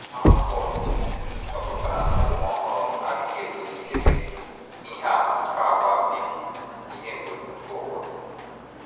Allport, chọpụtara na ụmụ ọhụrụ “ adịghị egosikebe... ihe àmà nke àgwà mbibi ihe ebumpụta ụwa.....